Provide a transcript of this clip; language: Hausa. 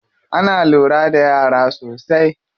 Ana lura da yara sosai.